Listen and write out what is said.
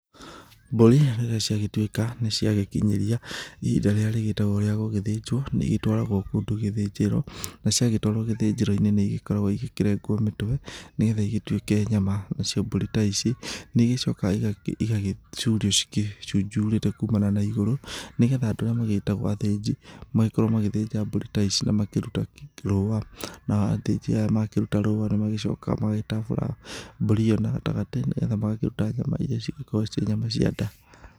Mbũri, ciagĩtuĩka, nĩciagĩkinyĩria, ihinda rĩrĩa rĩgĩtagũo rĩa gũgĩthĩnjũo, nĩigĩtuũaragũo kũndũ ta gĩthĩnjĩro, naciagĩtũarũo gĩthĩnjĩroinĩ nĩigĩkoragũo igĩkĩrengũo mĩtwe, nĩgetha igĩtuĩke nyama. Nacio mbũri ta ici, nĩigĩcokaga igagĩ, igagĩcurio, igĩcunjurĩte kumana na igũrũ, nĩgetha andũ arĩa magĩtagũo athĩnji, magĩkorũo magĩthĩnja mbũri ta ici na makĩruta rũa, nao athĩnji aya makĩruta rũa nĩmagĩcokaga magakĩtamburanga, mbũri ĩyo na gatagatĩ, nĩgetha magakĩruta nyama iria cigĩkoragũo cirĩ nyama cia nda.